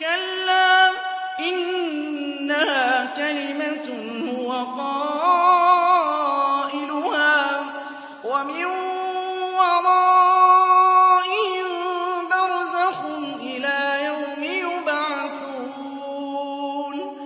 كَلَّا ۚ إِنَّهَا كَلِمَةٌ هُوَ قَائِلُهَا ۖ وَمِن وَرَائِهِم بَرْزَخٌ إِلَىٰ يَوْمِ يُبْعَثُونَ